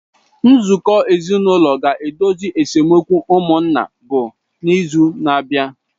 Nzukọ ezinụlọ ga-edozi esemokwu ụmụnna bụ n’izu na-abịa.